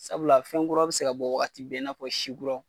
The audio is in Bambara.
Sabula fɛnkuraw be se ka bɔ waati bɛɛ in'a fɔ si kuraw